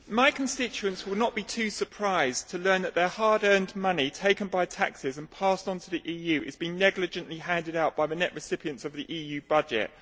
Madam President, my constituents will not be too surprised to learn that their hard earned money taken by taxes and passed on to the EU is being negligently handed out by the net recipients of the EU budget.